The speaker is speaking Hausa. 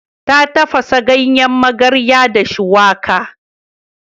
Ta tafasa ganyen magarya da shuwaka.